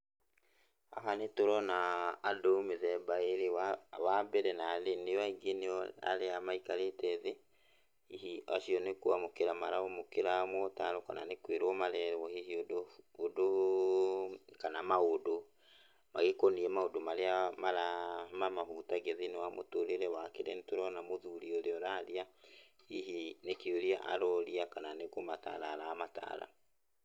Haha nĩtũronaa andũ mĩthemba ĩrĩ. Wambere nathĩ nĩo aingĩ nĩo arĩa maikarĩte thĩ, hihi acio nĩkwamũkĩra maramũkĩra motaaro kana nĩ kwĩrũo marerwo hihi ũndũ kana maũndũ magĩkoniĩ maundũ marĩa mara mamahutagia thĩiniĩ wa mũtũrĩre wake. Na nĩtũrona mũthuri ũrĩa ũraria, hihi nĩkĩũria aroria kana nĩ kũmataara aramataara.